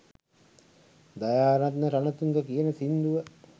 දයාරත්න රනතුංග කියන සිංදුව